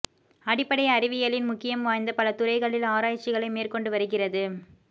அடிப்படை அறிவியலின் முக்கியம் வாய்ந்த பல துறைகளில் ஆராய்ச்சிகளை மேற்கொண்டு வருகிறது